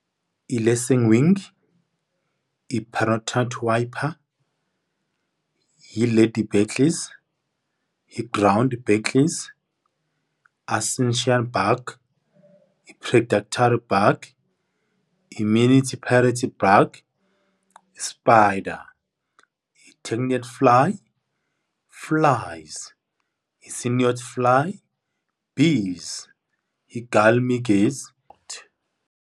I-lacingwing, i-paratite wiper, i-lady beetles, i-ground beetles, assential bug, predactory bug, immunity parity bug, i-spider, i-tectnet fly, flies, i-syniod fly, bees, .